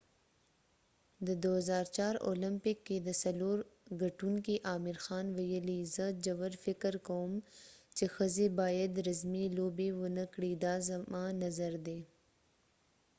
د 2004 اولمپک کې د سلور ګټونکې عامر خان ويلی : زه ژور فکر کوم چې ښځی باید رزمی لوبی ونه کړي، دا زما نظر ده